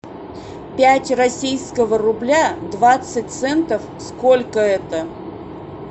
пять российского рубля двадцать центов сколько это